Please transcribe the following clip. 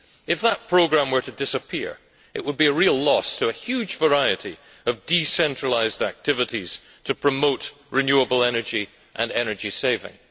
If that programme were to disappear it would be a real loss to a huge variety of decentralised activities to promote renewable energy and energy saving.